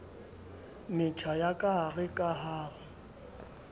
metjha ya kahare ka ho